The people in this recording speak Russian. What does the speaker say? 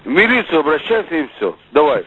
в милицию обращайся и всё давай